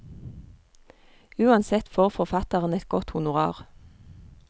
Uansett får forfatteren et godt honorar.